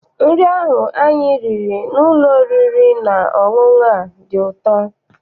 Nri ahụ anyị riri n'ụlọ oriri na ọṅụṅụ a dị ụtọ.